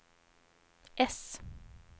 S